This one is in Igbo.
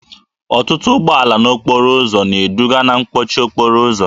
Ọtụtụ ụgbọala n'okporo ụzọ na-eduga na mkpọchi okporo ụzọ